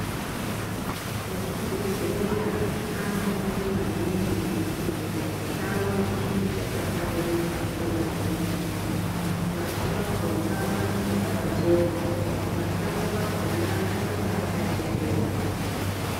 Ezvibhedhlera anoshanda maningi kuti chibhedhleya chawo chinge chakahlamburuka nguwa zhinji pashi pakhona panonga pakachena mashango akhona anonga akachekerwa.